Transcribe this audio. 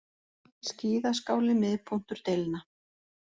Skíðaskáli miðpunktur deilna